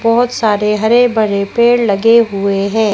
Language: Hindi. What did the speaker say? बहुत सारे हरे भरे पेड़ लगे हुए हैं।